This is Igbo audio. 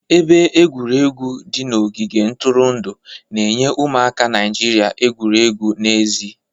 Ebe egwuregwu di n'ogige ntụrụndụ na-enye ụmụaka Naijiria egwuregwu n'èzí.